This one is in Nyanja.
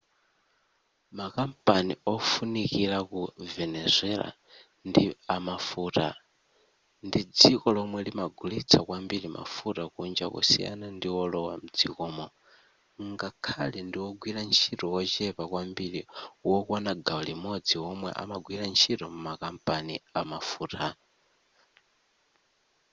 makampani ofunikira ku venezuela ndi amafuta ndi dziko lomwe limagulitsa kwambiri mafuta kunja kusiyana ndiwolowa mdzikomo ngakhale ndiwogwira ntchito wochepa kwambiri wokwana gawo limodzi womwe amagwira ntchito m'makampani amafuta